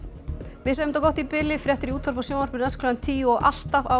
við segjum þetta gott í bili fréttir í útvarpi og sjónvarpi næst klukkan tíu og alltaf á